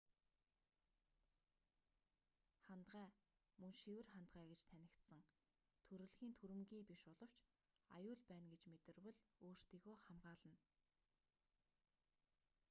хандгай мөн шивэр хандгай гэж танигдсан төрөлхийн түрэмгий биш боловч аюул байна гэж мэдэрвэл өөрсдийгөө хамгаална